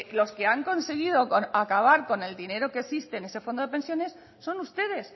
los que han conseguido acabar con el dinero que existe en ese fondo de pensiones son ustedes